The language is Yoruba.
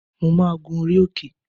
Mo máa gun orí òkè